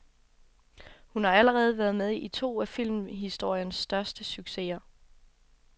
Hun har allerede været med i to af filmhistoriens største succeser.